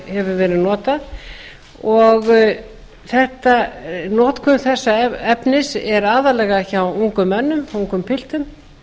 hefur verið notað og notkun þessa efnis er aðallega hjá ungum mönnum ungum piltum